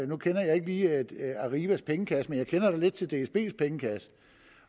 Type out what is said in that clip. nu kender jeg ikke lige arrivas pengekasse men jeg kender da lidt til dsbs pengekasse